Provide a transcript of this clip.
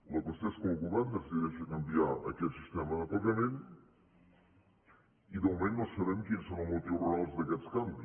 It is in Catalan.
la qüestió és que el govern decideix canviar aquest sistema de pagament i de moment no sabem quins són els motius reals d’aquest canvi